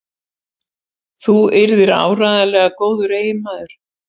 Þú yrðir áreiðanlega góður eiginmaður.